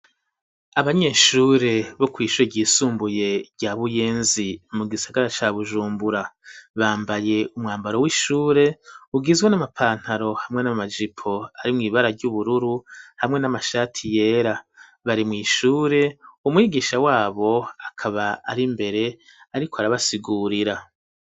Abanyeshure bo kw’ishure ryisumbuye rya buyenzi mu gisagara ca bujumbura, bambaye umwambaro w'ishure ugizwe n'amapantaro hamwe n'amajipo ari mw’ ibara ry'ubururu hamwe n'amashati yera ,bari mw’ ishure umwigisha wabo akaba ari mbere ariko arabasigurira.